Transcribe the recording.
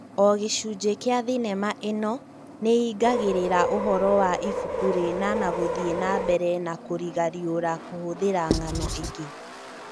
o gĩcunjĩ kĩa thenema ĩno nĩingagirĩra ũhoro wa ibuku rĩna na gũthiĩ na mbere na kũrĩgariũra kũhũthĩra ng'ano ingĩ